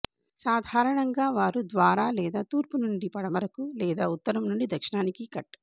సాధారణంగా వారు ద్వారా లేదా తూర్పు నుండి పడమరకు లేదా ఉత్తరం నుండి దక్షిణానికి కట్